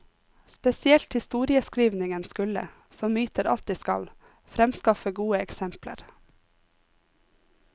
Spesielt historieskrivningen skulle, som myter alltid skal, fremskaffe gode eksempler.